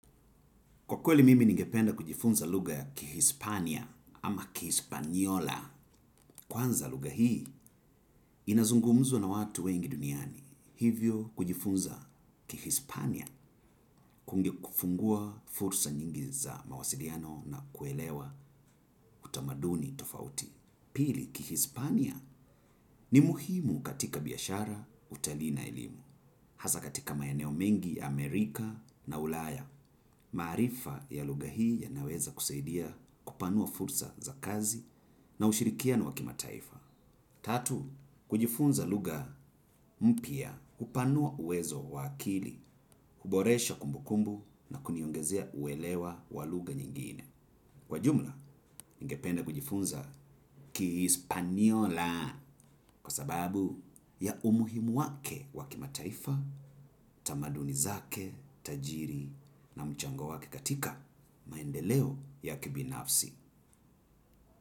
Kwa kweli mimi ningependa kujifunza lugha ya kihispania ama kihispaniola. Kwanza lugha hii, inazungumzwa na watu wengi duniani. Hivyo kujifunza kihispania kunge kufungua fursa nyingi za mawasiliano na kuelewa utamaduni tofauti. Pili, kihispania ni muhimu katika biashara utalii na elimu. Asa katika maeneo mingi Amerika na ulaya, maarifa ya lugha hii yanaweza kusaidia kupanua fursa za kazi na ushirikiano wa kimataifa. Tatu, kujifunza lugha mpya hupanua uwezo wa akili, huboresha kumbukumbu na kuniongezea uelewa walugha nyingine. Kwa jumla, ningependa kujifunza ki hispaniola kwa sababu ya umuhimu wake wakimataifa, tamaduni zake, tajiri na mchango wake katika maendeleo ya kibinafsi.